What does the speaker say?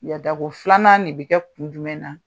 Yada ko filanan ne bi kɛ kun jumɛn na ?